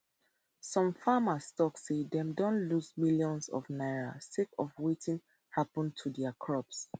some farmers tok say dem don lose millions of naira sake of wetin happun to dia crops